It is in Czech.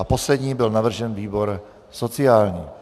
A poslední byl navržen výbor sociální.